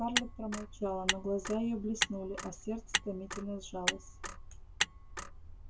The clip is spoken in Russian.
скарлетт промолчала но глаза её блеснули а сердце томительно сжалось